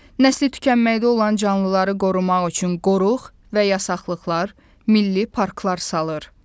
Nəsli tükənməkdə olan canlıları qorumaq üçün qoruq və yasaqlıqlar, milli parklar salır.